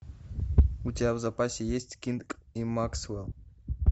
у тебя в запасе есть кинг и максвелл